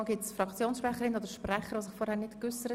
Gibt es noch Fraktionssprecher, die sich äussern möchten?